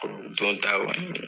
O don t'a kɔni